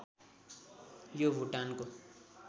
यो भुटानको